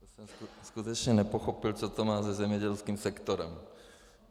Já jsem skutečně nepochopil, co to má se zemědělským sektorem.